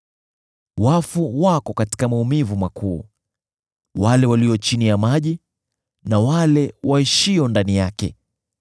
“Wafu wako katika maumivu makuu, wale walio chini ya maji na wale waishio ndani yake.